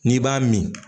N'i b'a min